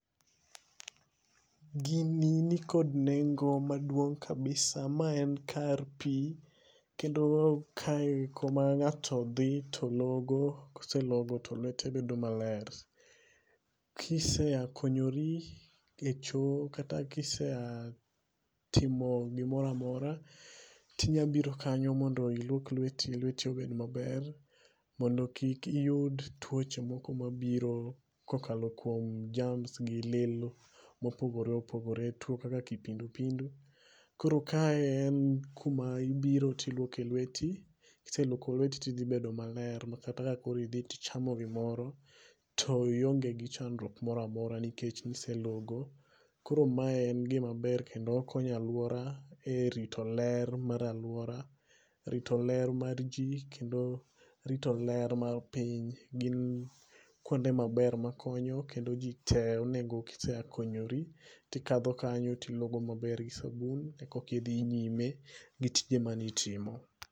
Gini ni kod nengo maduong kabisa, ma en kar pi kendo ma en kama ng'ato dhi to logo ko oselogo to lwete bed ma ber. Ki iseya konyori e choo kata ki iseya timo gi moro amora ti inya biro kanyo mondo iluok lweti, lweti obed ma ber mondo kik iyud twoche moko ma biro ko okalo kuom germs gi lil ma opogore opogore, two kaka kipindu pindu koro kae en ku ma ibire to ilwoke e lweti, ki iselwoko lweti ti idhi bedo ma ber ma kata ki ibet ichamo gi moro ti ionge chandruok moro amora nikech ni iselogo. Koro mae en gi ma ber kendo okonyo aluora e rito ler mar aluora, rito ler ma ji kendo rito ler mar piny gi kuonde ma ber ma konyo kendo ji te onego ka isekonyori ti ikadho kanyo ilogo gi sabun koka idhi nyime gi tije ma ni itimo.